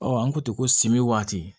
an ko ten ko simimi waati